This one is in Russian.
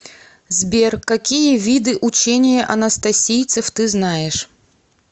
сбер какие виды учение анастасийцев ты знаешь